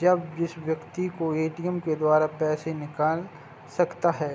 जब जिस व्यक्ति को ए.टी.एम. के द्वारा पैसे निकाल सकता हैं।